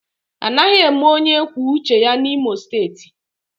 Anaghị eme onye kwuo uche ya N'Imo steeti